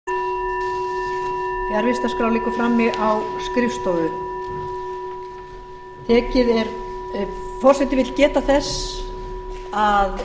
fundur er settur á alþingi fjarvistarskrá liggur frammi á skrifstofu forseti vill geta þess að